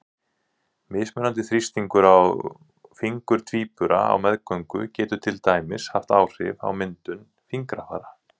Mismunandi þrýstingur á fingur tvíbura á meðgöngu getur til dæmis haft áhrif á myndun fingrafara.